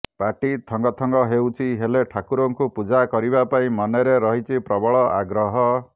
ପାଟି ଥଙ୍ଗଥଙ୍ଗ ହେଉଛି ହେଲେ ଠାକୁରଙ୍କୁ ପୂଜା କରିବା ପାଇଁ ମନରେ ରହିଛି ପ୍ରବଳ ଆଗ୍ରହ